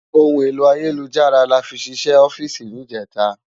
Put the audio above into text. Óhún éló àyélújárà láfì ṣiṣè òfìsí nijètá